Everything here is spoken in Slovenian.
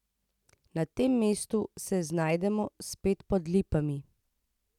Na tem mestu se znajdemo spet pod lipami.